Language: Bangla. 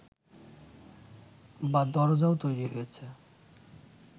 বা দরজাও তৈরি হয়েছে